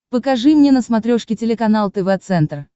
покажи мне на смотрешке телеканал тв центр